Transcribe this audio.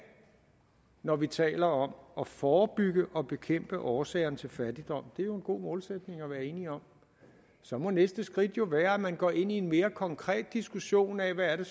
når vi taler om at forebygge og bekæmpe årsagerne til fattigdom det er jo en god målsætning at være enige om og så må næste skridt være at man går ind i en mere konkret diskussion af hvad det